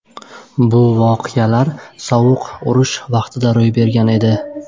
Bu voqealar sovuq urush davrida yuz bergan edi.